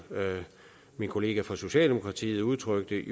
min kollega fra socialdemokratiet udtrykte